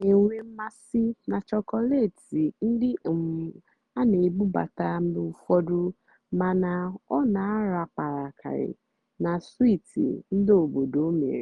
ọ́ nà-ènwé mmásị́ nà chọ́kọ́létị́ ndí um á nà-èbúbátá mgbe ụ́fọ̀dụ́ màná ọ́ nà-àràpàràkarị́ nà swíítì ndí óbòdò mèrè.